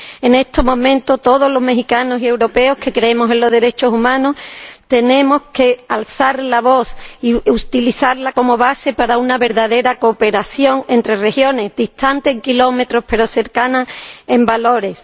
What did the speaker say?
En estos momentos, todos los mexicanos y europeos que creemos en los derechos humanos tenemos que alzar la voz y utilizarla como base para una verdadera cooperación entre regiones distantes en kilómetros, pero cercanas en valores.